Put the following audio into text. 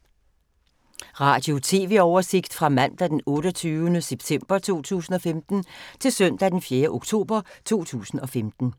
Radio/TV oversigt fra mandag d. 28. september 2015 til søndag d. 4. oktober 2015